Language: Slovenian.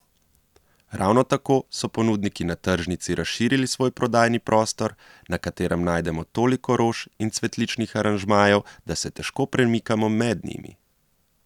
Ravno tako so ponudniki na tržnici razširili svoj prodajni prostor, na katerem najdemo toliko rož in cvetličnih aranžmajev, da se težko premikamo med njimi.